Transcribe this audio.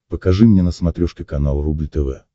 покажи мне на смотрешке канал рубль тв